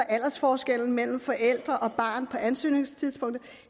aldersforskellen mellem forældre og barn på ansøgningstidspunktet